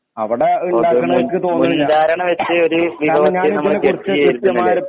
മുൻധാരണ വെച്ച് ഒര്